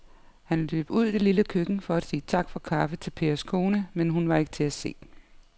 Han løb ud i det lille køkken for at sige tak for kaffe til Pers kone, men hun var ikke til at se.